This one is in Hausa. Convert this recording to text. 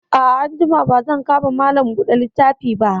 A'a, anjima ba zan ka ma Malam buɗe littafi ba